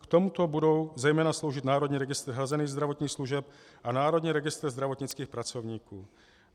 K tomuto budou zejména sloužit Národní registr hrazených zdravotních služeb a Národní registr zdravotnických pracovníků.